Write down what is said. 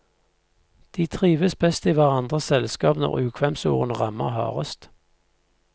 De trives best i hverandres selskap når ukvemsordene rammer hardest.